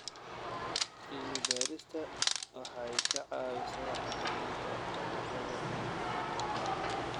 Cilmi-baaristu waxay ka caawisaa xakamaynta cudurrada dhirta.